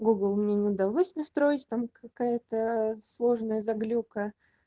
гугл мне не дал мысли строить там какая-то сложная заглюка